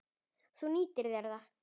Þú nýttir þér það.